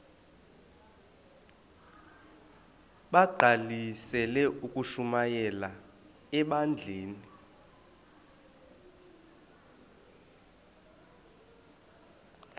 bagqalisele ukushumayela ebandleni